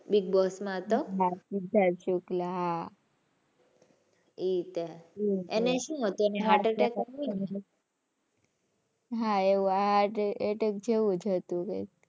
big boss માં હતા. સિદ્ધાર્થ શુક્લા હાં. એ તે એને શું હતું? એને heart attack આવ્યું તું ને. હાં એવું heart attack જેવુ જ હતું કઈક.